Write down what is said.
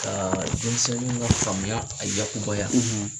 Ka denmisɛnninw ka faamuya , a yakubaya